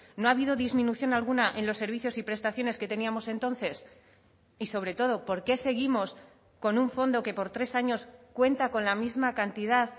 no ha habido disminución alguna en los servicios y prestaciones que teníamos entonces y sobre todo por qué seguimos con un fondo que por tres años cuenta con la misma cantidad